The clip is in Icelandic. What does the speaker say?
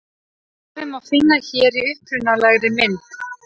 Svarið má finna hér í upprunalegri mynd.